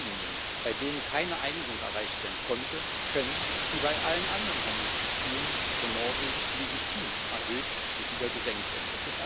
Zolllinien, bei denen keine Einigung erreicht werden konnte, können wie bei allen anderen Handelsbeziehungen von Norwegen legitim erhöht und wieder gesenkt werden.